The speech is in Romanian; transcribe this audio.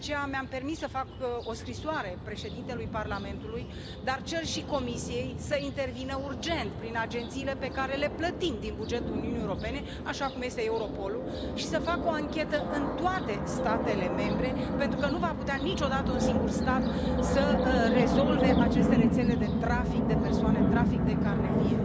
De aceea, mi am permis să fac o scrisoare Președintelui Parlamentului, dar cer și Comisiei să intervină urgent prin agențiile pe care le plătim din bugetul Uniunii Europene, așa cum este Europol, și să facă o anchetă în toate statele membre, pentru că nu va putea niciodată un singur stat să rezolve aceste rețele de trafic de persoane, de trafic de carne vie.